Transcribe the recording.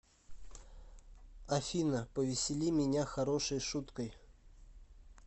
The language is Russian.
афина повесели меня хорошей шуткой